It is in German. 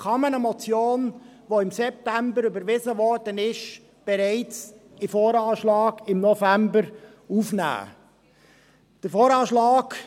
Kann man eine Motion, die im September überwiesen wurde , bereits im November in den VA aufnehmen?